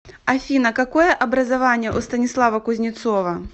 афина какое образование у станислава кузнецова